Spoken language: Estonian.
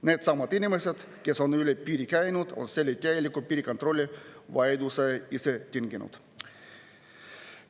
Needsamad inimesed, kes on üle piiri käinud, on selle täieliku piirikontrolli vajaduse ise tinginud.